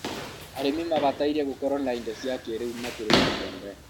arĩmi mabataire gũkorũo na indo cia kĩrĩu makĩrĩma mbembe